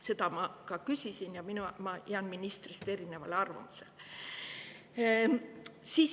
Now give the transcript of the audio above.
Seda ma ka küsisin ja ma jään selles ministrist erinevale arvamusele.